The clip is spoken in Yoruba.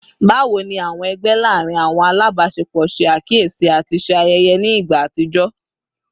Bawo ni awọn ẹgbẹ laarin awọn alabaṣepọ ṣe akiyesi ati ṣe ayẹyẹ ni igba atijọ?